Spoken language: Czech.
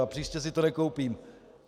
A příště si to nekoupím.